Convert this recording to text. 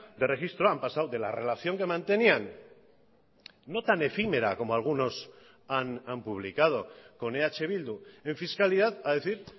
de registro han pasado de la relación que mantenían no tan efímera como algunos han publicado con eh bildu en fiscalidad a decir